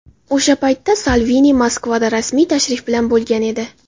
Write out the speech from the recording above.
O‘sha paytda Salvini Moskvada rasmiy tashrif bilan bo‘lgan edi.